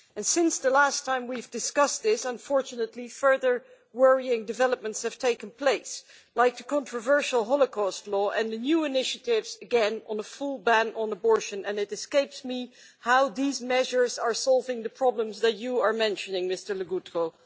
Since the last time we discussed this, unfortunately, further worrying developments have taken place, like the controversial Holocaust law and the new initiatives on a full ban on abortion, and it escapes me how these measures are solving the problems that you have mentioned, Mr Legutko.